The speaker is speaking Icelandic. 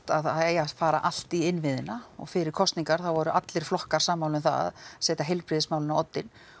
að það eigi að fara allt í innviðina og fyrir kosningar þá voru allir flokkar sammála um það að setja heilbrigðismálin á oddinn og